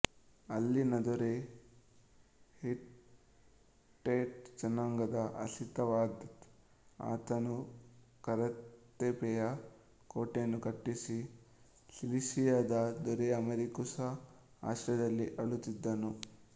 ಅಲ್ಲಿನ ದೊರೆ ಹಿಟ್ಟೈಟ್ ಜನಾಂಗದ ಅಸಿತವಾದ್ ಆತನು ಕರತೆಪೆಯ ಕೋಟೆಯನ್ನು ಕಟ್ಟಿಸಿ ಸಿಲಿಷಿಯಾದ ದೊರೆ ಅವರಿಕುಸ್ನ ಆಶ್ರಯದಲ್ಲಿ ಆಳುತ್ತಿದ್ದನು